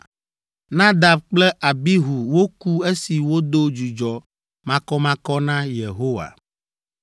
Nadab kple Abihu woku esi wodo dzudzɔ makɔmakɔ na Yehowa.)